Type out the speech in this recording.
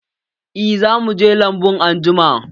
Eh, za mu je lambun anjima.